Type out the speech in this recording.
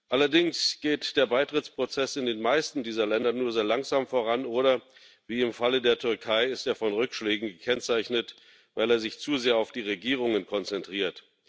Allerdings geht der Beitrittsprozess in den meisten dieser Länder nur sehr langsam voran oder ist, wie im Falle der Türkei, von Rückschlägen gekennzeichnet, weil er sich zu sehr auf die Regierungen konzentriert.